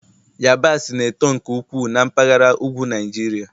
yabasị na-eto nke ukwuu na mpaghara ugwu Niajiria